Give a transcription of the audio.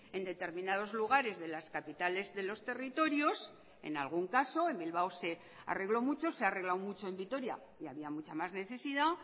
en determinados lugares de las capitales de los territorios en algún caso en bilbao se arregló mucho se ha arreglado mucho en vitoria y había mucha más necesidad